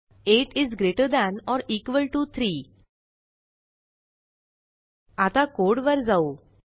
8 is greater than or equal to 3 आता code वर जाऊ